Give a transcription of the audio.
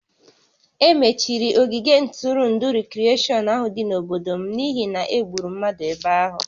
E mechiri ogige ntụrụndụ rikreshọn ahụ dị n'obodo m n'ihi na e gburu mmadụ n'ebe ahụ